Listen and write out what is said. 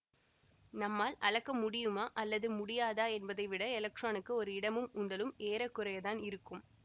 நம்மால் அளக்க முடியுமா அல்லது முடியாதா என்பதை விட எலக்ட்ரானுக்கு ஒரு இடமும் உந்தலும் ஏறக்குறையத்தான் இருக்கும்